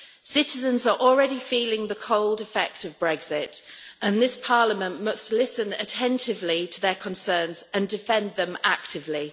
Citizens are already feeling the cold effect of Brexit and this Parliament must listen attentively to their concerns and defend them actively.